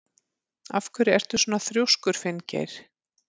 Af hverju ertu svona þrjóskur, Finngeir?